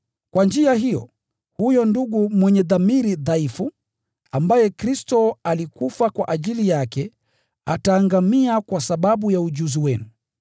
Kwa njia hiyo, huyo ndugu mwenye dhamiri dhaifu, ambaye Kristo alikufa kwa ajili yake, ataangamia kwa sababu ya ujuzi wenu.